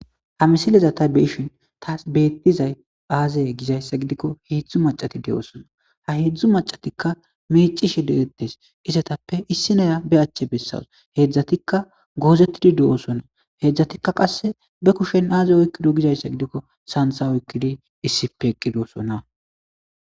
Ha misileza ta beeshin taas beettizay aazeye gizayssa gidikko heedzdzu macati de7osona ha heedzdzu macatikka mecishi degettes isetappe issinoya be achche bessas heedzdzatikka goozettidi de7osona heedzdzatikka qasse be kushen aaze oykkido gizayssa gidikko santsa oykkidi issipe eqqidosona.